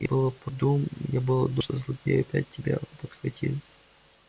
я было думал что злодеи опять тебя подхватили